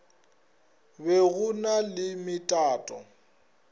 be go na le metato